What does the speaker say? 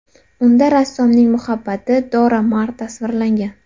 Unda rassomning muhabbati Dora Maar tasvirlangan.